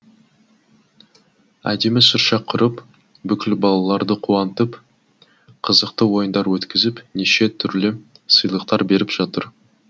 әдемі шырша құрып бүкіл балаларды қуантып қызықты ойындар өткізіп неше түрлі сыйлықтар беріп жатыр